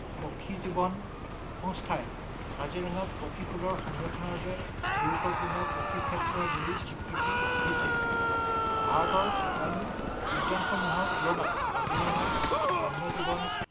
পক্ষী জীৱন সংস্থাই কাজিৰঙাত পক্ষীকুলৰ সংৰক্ষণৰ বাবে গুৰুত্বপূৰ্ণ পক্ষীক্ষেত্ৰ বুলি স্বীকৃতি দিছে। ভাৰতৰ অইন উদ্যানসমূহৰ তুলনাত কাজিৰঙাত বন্য জীৱন